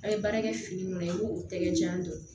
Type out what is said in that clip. A' ye baara kɛ fini minnu na i b'o tɛgɛ jan don